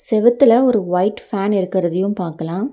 செவுத்துல ஒரு white fan இருக்கறதையு பாக்கலா.